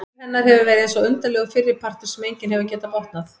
Líf hennar hefur verið eins og undarlegur fyrripartur sem enginn hefur getað botnað.